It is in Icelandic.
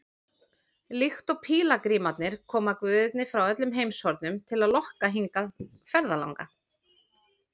Líkt og pílagrímarnir koma guðirnir frá öllum heimshornum til að lokka hingað ferðalanga.